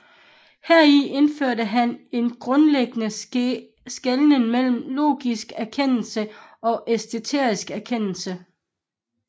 Heri indfører han en grundlæggende skelnen mellem logisk erkendelse og æstetisk erkendelse